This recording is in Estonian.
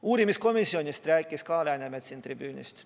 Uurimiskomisjonist rääkis ka Läänemets siit tribüünilt.